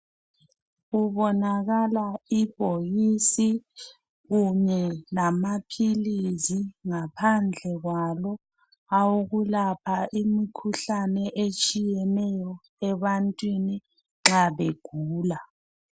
Kubonakala ibhokisi kunye lamaphilizi ngaphandle kwalo awokulapha imikhuhlane etshiyeneyo ebantwini nxa begula.